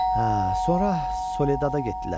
Hə, sonra Soledad-a getdilər.